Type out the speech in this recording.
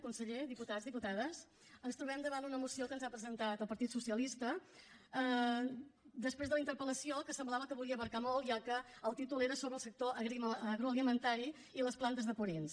conseller diputats diputades ens trobem davant una moció que ens ha presentat el partit socialista després de la interpel·lació que semblava que volia abraçar molt ja que el títol era sobre el sector agroalimentari i les plantes de purins